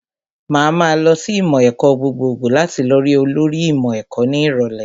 Màá ma lọ sí ìmọ̀ ẹ̀kọ́ gbogbogbò láti lọ rí olórí ìmọ̀ ẹ̀kọ́ ní ìrọ̀lẹ́